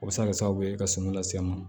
O bɛ se ka kɛ sababu ye ka sɛgɛn lase an ma